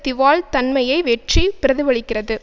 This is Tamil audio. திவால் தன்மையை வெற்றி பிரதிபலிக்கிறது